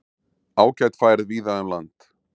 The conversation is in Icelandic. Ágæt færð víða um land